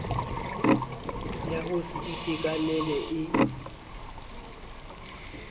ya ho se itekanele e